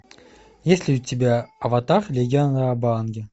есть ли у тебя аватар легенда об аанге